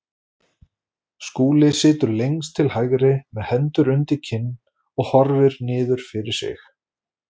Skúli situr lengst til hægri með hendur undir kinn og horfir niður fyrir sig.